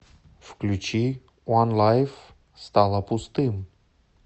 включи онлайф стало пустым